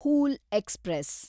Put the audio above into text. whole express